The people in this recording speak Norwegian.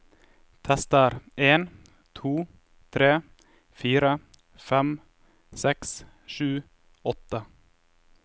Tester en to tre fire fem seks sju åtte